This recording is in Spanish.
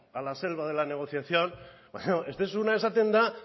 a la selva de la negociación ez duzuna esaten da